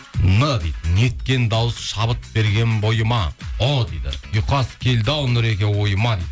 н дейді неткен дауыс шабыт берген бойыма ұ дейді ұйқас келді ау нұреке ойыма